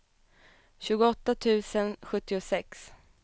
tjugoåtta tusen sjuttiosex